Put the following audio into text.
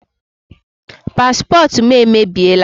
Paspọtụ m emebiela.